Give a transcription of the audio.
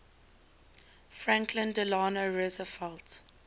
franklin delano roosevelt